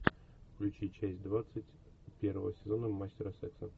включи часть двадцать первого сезона мастера секса